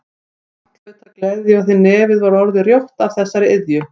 Margt hlaut að gleðja því nefið var orðið rjótt af þessari iðju.